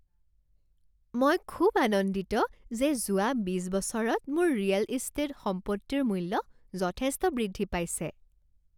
মই খুব আনন্দিত যে যোৱা বিচ বছৰত মোৰ ৰিয়েল ইষ্টেট সম্পত্তিৰ মূল্য যথেষ্ট বৃদ্ধি পাইছে।